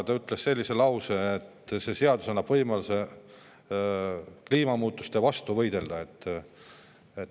Ta ütles sellise lause, et see seadus annab võimaluse kliimamuutuste vastu võidelda.